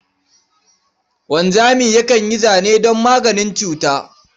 Wanzami yakan yi zane don maganin cuta.